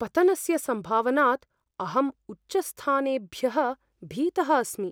पतनस्य सम्भावनात् अहम् उच्चस्थानेभ्यः भीतः अस्मि।